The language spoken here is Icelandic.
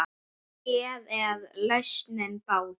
Hér er lausnin bátur.